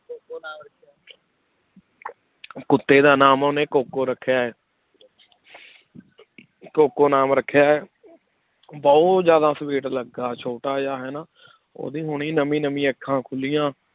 ਕੁੱਤੇ ਦਾ ਨਾਮ ਉਹਨੇ ਕੋਕੋ ਰੱਖਿਆ ਹੈ ਕੋਕੋ ਨਾਮ ਰੱਖਿਆ ਹੈ ਬਹੁਤ ਜ਼ਿਆਦਾ sweet ਲੱਗਾ ਛੋਟਾ ਜਿਹਾ ਹਨਾ ਉਹਦੀ ਹੁਣੀ ਨਵੀਂ ਨਵੀਂ ਅੱਖਾਂ ਖੁੱਲੀਆਂ